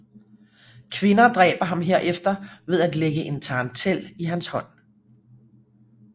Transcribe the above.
Kvinder dræber ham herefter ved at lægge en tarantel i hans hånd